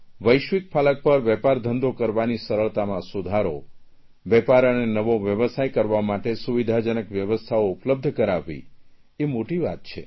વૈશ્વિક ફલક પર વેપારધંધો કરવાની સરળતામાં સુધારો વેપાર અને નવો વ્યવસાય કરવા માટે સુવિધાજનક વ્યવસ્થાઓ ઉપલબ્ધ કરાવવી એ મોટી વાત છે